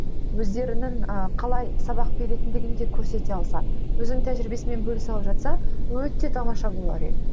өздерінің ыыы қалай сабақ беретіндігін де көрсете алса өзін тәжірибесімен бөлісе алып жатса өте тамаша болар еді